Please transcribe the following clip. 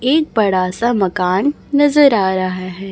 एक बड़ा सा मकान नजर आ रहा है।